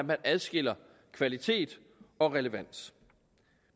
man adskiller kvalitet og relevans